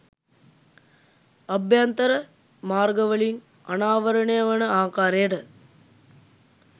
අභ්‍යන්තර මාර්ගවලින් අනාවරණය වන ආකාරයට